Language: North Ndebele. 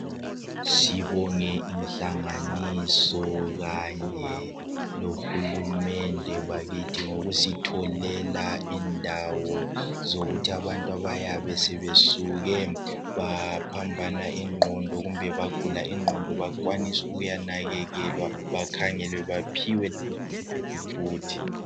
sibonge inhlanganiso kanye lohulumende ngokusitholela indawo zokuthi abantu abayabe bebuye baphambana inqondo bagula inqondo bakwanisa ukuya nakekelwa bakhangelwe baphiwe umuthi